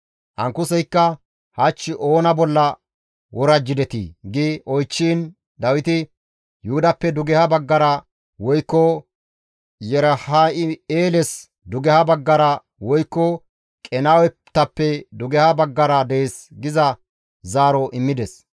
Ankuseykka, «Hach oona bolla worajjidetii?» gi oychchiin Dawiti, «Yuhudappe dugeha baggara, woykko Yerahim7eeles dugeha baggara, woykko Qenaawetappe dugeha baggara dees» giza zaaro immides.